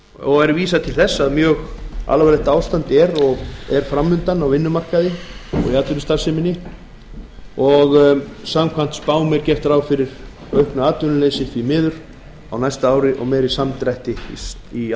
og er vísað til þess að mjög alvarlegt ástand er fram undan á vinnumarkaði og í atvinnustarfseminni og samkvæmt spám er því miður gert ráð fyrir auknu atvinnuleysi á næsta ári og meiri samdrætti í